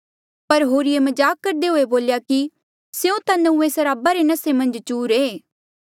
पर होरिए मजाक करदे हुए बोल्या कि स्यों ता नंऊँऐं सराबा रे नसे मन्झ चूर ऐें